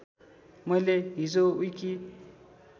मैले हिजो विकी